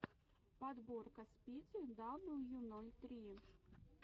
подборка спиди дабл ю ноль три